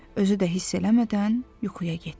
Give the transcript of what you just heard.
Özü də hiss eləmədən yuxuya getdi.